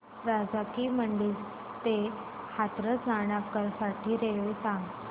राजा की मंडी ते हाथरस जाण्यासाठी रेल्वे सांग